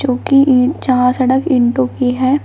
जहां सड़क ईंटों की है।